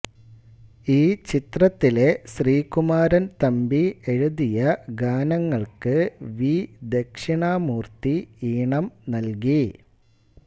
ഈ ചിത്രത്തിലെ ശ്രീകുമാരൻ തമ്പി എഴുതിയ ഗാനങ്ങൾക്ക് വി ദക്ഷിണാമൂർത്തി ഈണം നൽകി